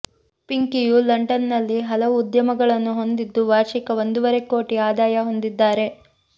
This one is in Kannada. ಪಿಂಕಿಯು ಲಂಡನ್ನಲ್ಲಿ ಹಲವು ಉದ್ಯಮಗಳನ್ನು ಹೊಂದಿದ್ದು ವಾರ್ಷಿಕ ಒಂದೂವರೆ ಕೋಟಿ ಆದಾಯ ಹೊಂದಿದ್ದಾರೆ